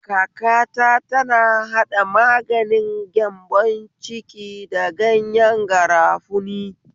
Kakata tana haɗa maganin gyambon ciki da ganyen garafuni.